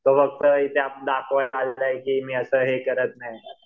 तो फक्त इथे दाखवायला आलेला आहे की असं हे करत नाही